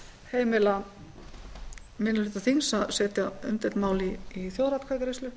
heimila minni hluta þings að setja undir mál í þjóðaratkvæðagreiðslu